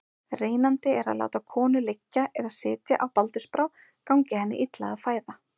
Reynandi er að láta konu liggja eða sitja á baldursbrá gangi henni illa að fæða.